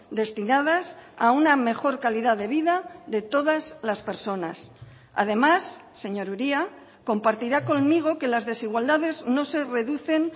destinadas a una mejor calidad de vida de todas las personas además señor uria compartirá conmigo que las desigualdades no se reducen